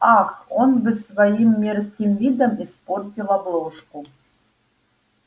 ах он бы своим мерзким видом испортил обложку